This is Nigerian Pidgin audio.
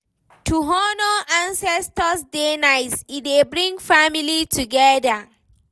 To honour ancestor dey nice, e dey bring family together